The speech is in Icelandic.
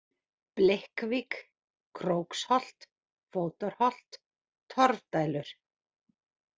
Blikkvík, Króksholt, Fótarholt, Torfdælur